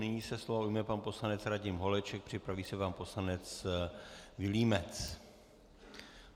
Nyní se slova ujme pan poslanec Radim Holeček, připraví se pan poslanec Vilímec.